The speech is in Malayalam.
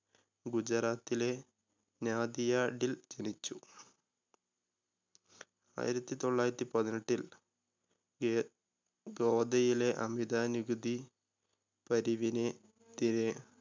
ഗുജറാത്തിലെ നാദിയാടിൽ ജനിച്ചു. ആയിരത്തി തൊള്ളായിരത്തി പതിനെട്ടിൽ A ഗോദയിലെ അമിത നികുതി പരിവിന് തിരെ